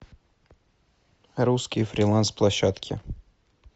русские фриланс площадки